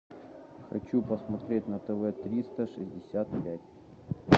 хочу посмотреть на тв триста шестьдесят пять